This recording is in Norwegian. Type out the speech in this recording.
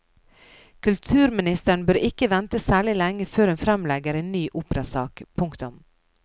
Kulturministeren bør ikke vente særlig lenge før hun fremlegger en ny operasak. punktum